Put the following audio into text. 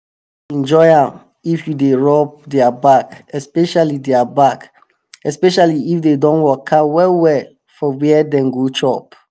enjoy am if you dey rub their back especially their back especially if dem don waka well well for where dem go chop.